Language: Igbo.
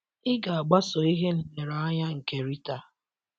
Ị̀ ga - agbaso ihe nlereanya nke Rita?